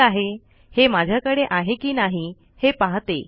ठीक आहे हे माझ्याकडे आहे कि नाही हे पाहते